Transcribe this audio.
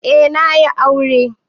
Eh na yi aure.